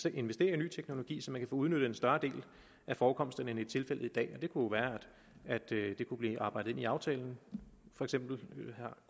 at investere i ny teknologi så man kan få udnyttet en større del af forekomsterne end det er tilfældet i dag og det kunne være at det kunne blive arbejdet ind i aftalen for eksempel